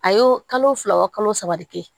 A y'o kalo fila wa kalo saba de kɛ